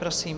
Prosím.